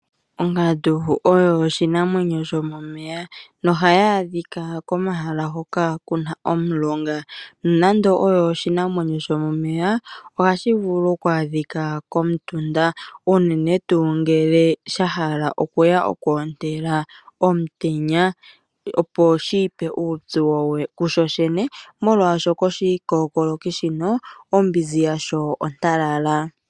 Ongandu oyo oshinanwenyo shomomeya ohayi adhika komahala hoka kuna omulonga. Nonando oshinanwenyo shomomeya ohayi ya uuna yahala okwootela omutenya, opo shiipe uupyu kushoshene molwa shono oshikokoloki shino ombinzi yasho ontalala.